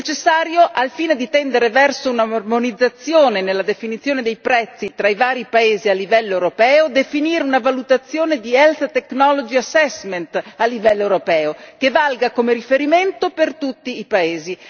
È necessario, al fine di tendere verso un'armonizzazione nella definizione dei prezzi tra i vari paesi a livello europeo, definire una valutazione di Health Technology Assessment a livello europeo, che valga come riferimento per tutti i paesi.